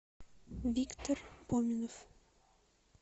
виктор поминов